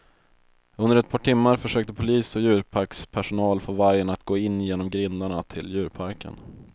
Under ett par timmar försökte polis och djurparkspersonal få vargen att gå in genom grindarna till djurparken.